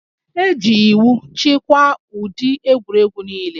E ji iwu chịkwaa ụdị egwuregwu niile